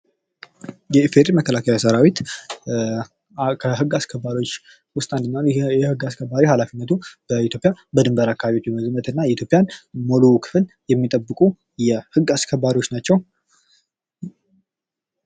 የኢፌድሪ መከላከያ ሰራዊት ከህግ አስከባሪዎች ውስጥ አንደኛው ነው:: ይህ የግ አስከባሪ ኃላፊነቱም በኢትዮጵያ ደንበር አካባቢ በመዝመትና የኢትዮጵያን ሙሉ ክፍል የሚጠብቁ የህግ አስከባሪዎች ናቸው::